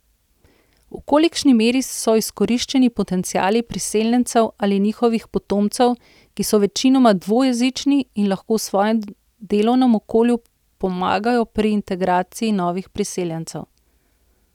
V kolikšni meri so izkoriščeni potenciali priseljencev ali njihovih potomcev, ki so večinoma dvojezični in lahko v svojem delovnem okolju pomagajo pri integraciji novih priseljencev?